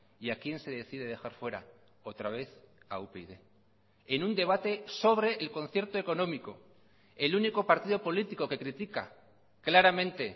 y a quién se decide dejar fuera otra vez a upyd en un debate sobre el concierto económico el único partido político que critica claramente